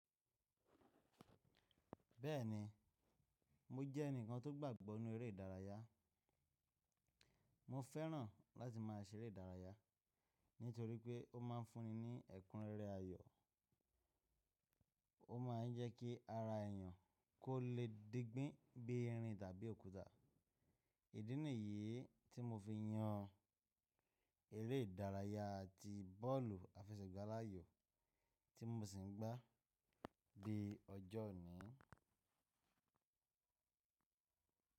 Bẹ́ẹ̀ni, mo jẹ́ ẹnìkan tó gbàgbọ́ nínú eré ìdárayá. Mo fẹ́ràn láti máa ṣeré ìdárayá nítorí pé ó ma ń fún ní ẹ̀kúnrẹ́rẹ́ ayọ̀, ó ma ń jẹ́ kí ara èyàn kó le digbín bí irin tàbí òkúta. Ìdí nìyí tí mo fi yan eré ìdárayá ti bọ́ọ̀lù àfẹsẹ̀gbá láàyò tí mo sì ń gbá di ọjọ́ òní.